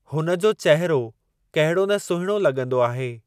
हुन जो चहिरो कहिड़ो न सुहिणो लॻंदो आहे।